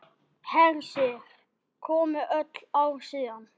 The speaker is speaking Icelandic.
Hersir: Komið öll ár síðan?